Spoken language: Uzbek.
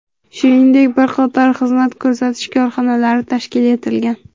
Shuningdek, bir qator xizmat ko‘rsatish korxonalari tashkil etilgan.